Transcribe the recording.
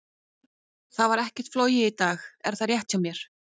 Það var ekkert flogið í dag, er það rétt hjá mér?